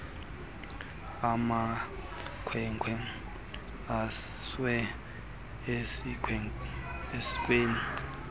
amakhwenkwe asiwe esikweni